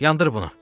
Yandır bunu!